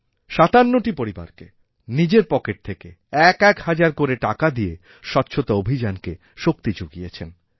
৫৭টি পরিবারকে নিজের পকেট থেকে একএক হাজার করে টাকা দিয়ে স্বচ্ছতাঅভিযানকে শক্তি যুগিয়েছেন